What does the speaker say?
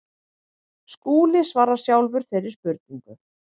Skúli svarar sjálfur þeirri spurningu.